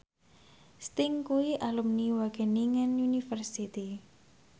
Sting kuwi alumni Wageningen University